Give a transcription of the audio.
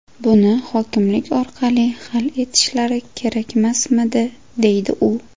Buni hokimlik orqali hal etishlari kerakmasmidi?”, -- deydi u.